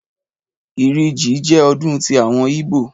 Ìrì jí jẹ́ ọdún ti àwọn yíbò